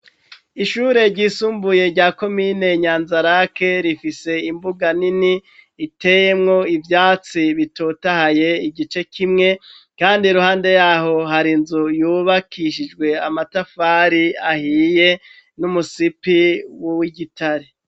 Ishure ryisumbuye rya komine nyanzarake rifise imbuga nini itemwo ivyatsi bitotahaye igice kimwe, kandi ruhande yaho hari inzu yubakishijwe amatafari ahiye n'umusipi wuw igitare.